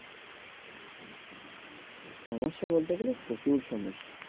সমস্যা বলতে গেলে প্রচুর সমস্যা।